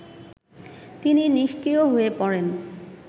তিনি নিস্ক্রিয় হয়ে পড়েন